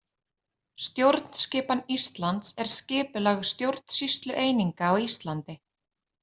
Stjórnskipan Íslands er skipulag stjórnsýslueininga á Íslandi.